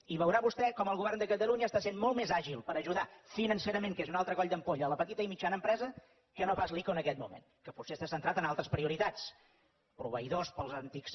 i veurà vostè com el govern de catalunya està sent molt més àgil per ajudar financerament que és un altre coll d’ampolla a la petita i mitjana empresa que no pas l’ico en aquest moment que potser està centrat en altres prioritats proveïdors pels antics